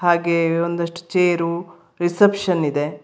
ಹಾಗೇ ಒಂದಷ್ಟು chair reception ಇದೆ.